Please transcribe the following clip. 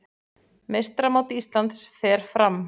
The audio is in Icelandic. Meistaramót Íslands fer fram